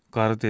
Qarı dedi.